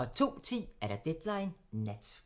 02:10: Deadline Nat